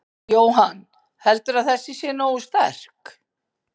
Jóhann: Heldurðu að þessi sé nógu sterk?